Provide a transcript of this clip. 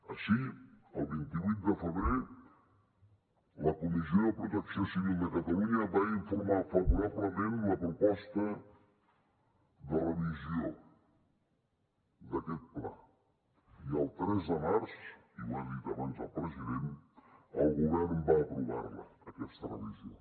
així el vint vuit de febrer la comissió de protecció civil de catalunya va informar favorablement la proposta de revisió d’aquest pla i el tres de març i ho ha dit abans el president el govern va aprovar la aquesta revisió